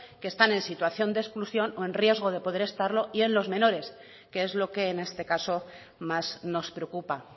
que están en situación de exclusión o en riesgo de poder estarlo y en los menores que es lo que en este caso más nos preocupa